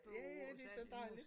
Ja ja det så dejligt